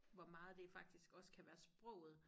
Hvor meget det faktisk også kan være sproget